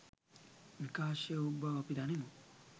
විකාශය වූ බව අපි දනිමු.